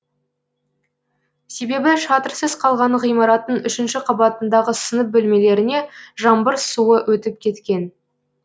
себебі шатырсыз қалған ғимараттың үшінші қабатындағы сынып бөлмелеріне жаңбыр суы өтіп кеткен